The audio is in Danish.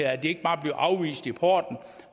at de ikke bare bliver afvist i porten